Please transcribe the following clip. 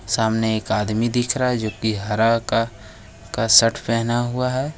सामने एक आदमी दिख रहा है जो कि हरा का का शर्ट पहना हुआ है।